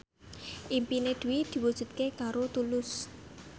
impine Dwi diwujudke karo Tulus